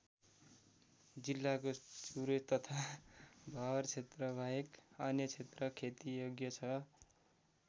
जिल्लाको चुरे तथा भावर क्षेत्रबाहेक अन्य क्षेत्र खेतीयोग्य छ।